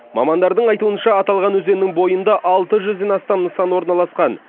мамандардың айтуынша аталған өзеннің бойында алты жүзден астам нысан орналасқан